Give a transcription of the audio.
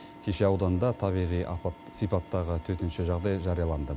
кеше ауданда табиғи апат сипаттағы төтенше жағдай жарияланды